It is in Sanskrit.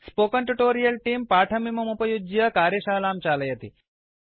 स्पोकेन ट्यूटोरियल् तेऽं पाठमिममुपयुज्य कार्यशालां चालयति